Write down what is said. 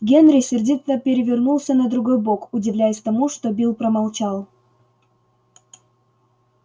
генри сердито перевернулся на другой бок удивляясь тому что билл промолчал